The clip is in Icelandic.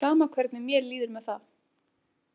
Sama hvernig mér líður með það.